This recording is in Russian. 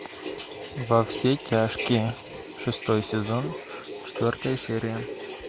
во все тяжкие шестой сезон четвертая серия